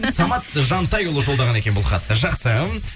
самат жантайұлы жолдаған екен бұл хатты жақсы